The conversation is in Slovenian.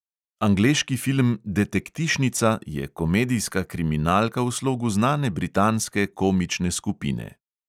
Angleški film detektišnica je komedijska kriminalka v slogu znane britanske komične skupine.